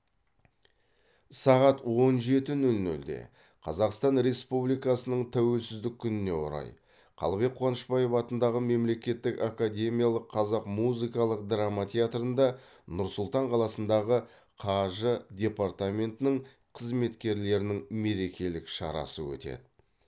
сағат он жеті нөл нөлде қазақстан республикасының тәуелсіздік күніне орай қалыбек қуанышбаев атындағы мемлекеттік академиялық қазақ музыкалық драма театрында нұр сұлтан қаласындағы қаж департаментінің қызметкерлерінің мерекелік шарасы өтеді